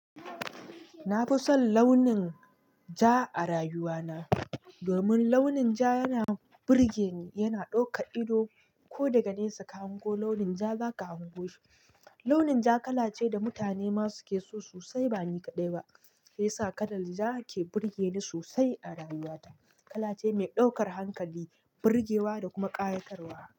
Na fi son launin ja a rayuwa na, domin launin ja yana burge ni, yana ɗauka ido ko daga nesa ka hango launin ja za ka hango shi. Launin ja kala ce da mutane ma su ke so sosai ba ni kaɗai ba. Ya sa kalar ja ke burge ni sosai a rayuwa ta. Kala ce mai ɗaukar hankali, burgewa da kuma ƙayatarwa.